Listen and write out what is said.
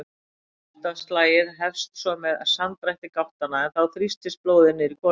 Hjartaslagið hefst svo með samdrætti gáttanna en þá þrýstist blóðið niður í hvolfin.